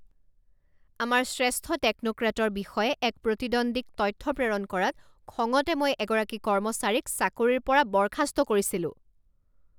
আমাৰ শ্ৰেষ্ঠ টেকন'ক্ৰেটৰ বিষয়ে এক প্ৰতিদ্বন্দ্বীক তথ্য প্ৰেৰণ কৰাত খঙতে মই এগৰাকী কৰ্মচাৰীক চাকৰিৰ পৰা বৰ্খাস্ত কৰিছিলোঁ।